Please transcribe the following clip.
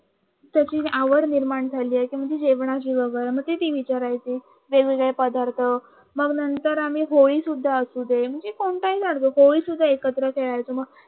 तशी आवड निर्माण झाली म्हणजे जेवणाची मती ते विचारायची वेगवेगळे पदार्थ मग नंतर आम्ही होळी सुद्धा असू दे म्हणजे कोणताही होळी शुद्धा एकत्र खेळायचो